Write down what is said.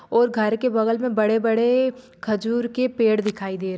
और घर के बगल मे बड़े बड़े खजूर के पेड़ दिखाई दे --